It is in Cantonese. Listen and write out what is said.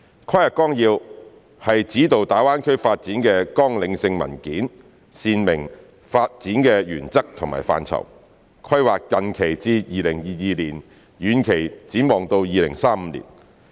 《規劃綱要》是指導大灣區發展的綱領性文件，闡明發展的原則和範疇，規劃近期至2022年，遠期展望到2035年。